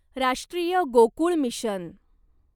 राष्ट्रीय गोकुळ मिशन